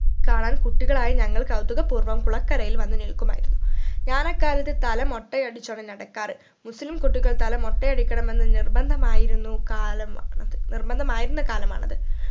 കാണാൻ കുട്ടികളായ ഞങ്ങൾ കൗതുക പൂർവം കുളക്കരയിൽ വന്ന് നിൽക്കുമായിരുന്നു ഞാൻ അക്കാലത്ത് തല മൊട്ടയടിച്ചോണ്ട് നടക്കാറ് മുസ്‌ലിം കുട്ടികൾ തല മൊട്ടയടിക്കണമെന്ന് നിർബന്ധമായിരുന്നു കാല മാണത് നിർബന്ധമായിരുന്ന കാലമാണത്